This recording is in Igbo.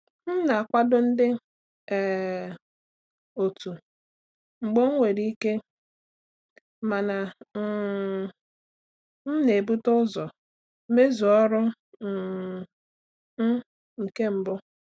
M na-akwado ndị um otu mgbe enwere ike, mana um m na-ebute ụzọ mezue ọrụ um m nke mbụ.